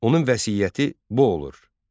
Onun vəsiyyəti bu olur: